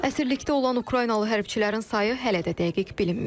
Əsirlikdə olan Ukraynalı hərbçilərin sayı hələ də dəqiq bilinmir.